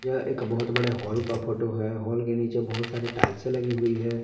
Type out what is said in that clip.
यह एक बहोत बड़े हॉल का फोटो है हॉल के नीचे बहुत सारे टाइल्से लगी हुई है।